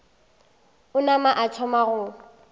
a nama a thoma go